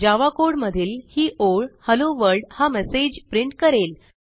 जावा code मधील ही ओळHello वर्ल्ड हा मेसेज प्रिंट करेल